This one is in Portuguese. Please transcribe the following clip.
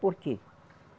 Por quê?